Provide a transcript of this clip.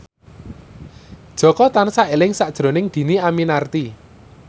Jaka tansah eling sakjroning Dhini Aminarti